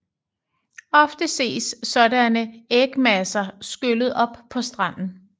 Ofte ses sådanne ægmasser skyllet op på stranden